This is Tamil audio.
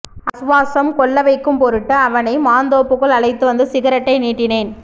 ஆசுவாசம் கொள்ளவைக்கும் பொருட்டு அவனை மாந்தோப்புக்குள் அழைத்துவந்து சிகரெட்டை நீட்டினேன்